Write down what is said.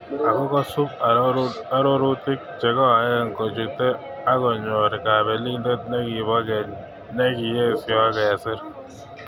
Ako kosub arorutik chekoen kochute akonyor kapelindet nekipo keny niki esio kesir.